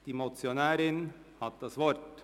Die Motionärin hat das Wort.